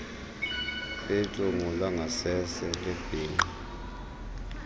belungu langasese lebhinqa